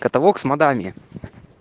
каталог с модами